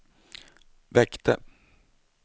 väckte